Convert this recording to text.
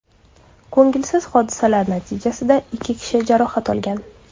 Ko‘ngilsiz hodisalar natijasida ikki kishi jarohat olgan.